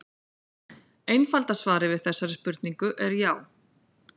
Einfalda svarið við þessari spurningu er já.